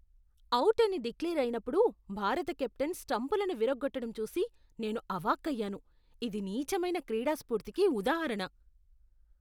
Out అని declare అయినప్పుడు భారత కెప్టెన్ స్టంపులను విరగ్గొట్టడం చూసి నేను అవాక్కయ్యాను, ఇది నీచమైన క్రీడాస్పూర్తికి ఉదాహరణ.